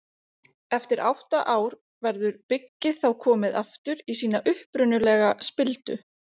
eftir átta ár verður byggið þá komið aftur í sína upprunalegu spildu